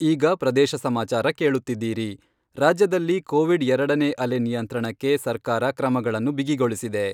ಈಗ ಪ್ರದೇಶ ಸಮಾಚಾರ ಕೇಳುತ್ತಿದ್ದೀರಿ ರಾಜ್ಯದಲ್ಲಿ ಕೋವಿಡ್ ಎರಡನೇ ಅಲೆ ನಿಯಂತ್ರಣಕ್ಕೆ ಸರ್ಕಾರ ಕ್ರಮಗಳನ್ನು ಬಿಗಿಗೊಳಿಸಿದೆ.